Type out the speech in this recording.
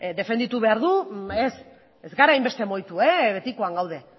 defenditu behar du ez ez gara hainbeste mugitu betikoan gaude